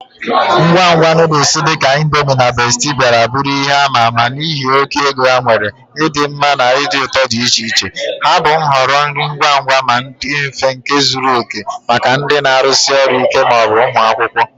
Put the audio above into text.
Ngwa ngwa noodles dị ka Indomie na Bestie bịara bụrụ ihe ama ama n'ihi oke ego ha nwere, ịdị mma na ụdị ụtọ dị iche iche. Ha bụ nhọrọ nri ngwa ngwa ma dị mfe nke zuru oke maka ndị na-arụsi ọrụ ike ma ọ bụ ụmụ akwụkwọ.